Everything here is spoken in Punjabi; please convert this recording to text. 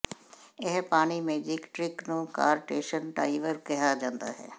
ਇਹ ਪਾਣੀ ਮੈਜਿਕ ਟ੍ਰਿਕ ਨੂੰ ਕਾਰਟੇਸਨ ਡਾਈਵਰ ਕਿਹਾ ਜਾਂਦਾ ਹੈ